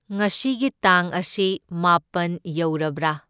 ꯉꯁꯤꯒꯤ ꯇꯥꯡ ꯑꯁꯤ ꯃꯥꯄꯟ ꯌꯧꯔꯕ꯭ꯔꯥ?